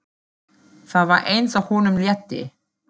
Það var eins og honum létti.